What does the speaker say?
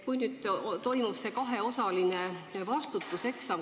Nüüd on ette nähtud see kaheosaline vastavuseksam.